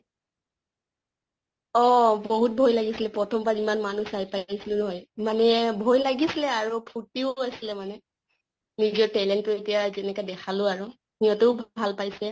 অহ বহুত ভয় লাগিছিলে প্ৰথম বাৰ ইমান মানুহ চাই পাই আছলো নহয়, মানে ভয় লাগিছিলে আৰু ফুৰ্তিও আছিলে মানে। নিজৰ talent তো এতিয়া যেনেকে দেখালো আৰু। ইহঁতেও ভাল পাইছে।